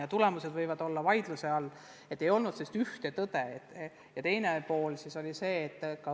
Ja tulemused võivad olla vaidluse all, teinekord ei ole sellist ühte tõde.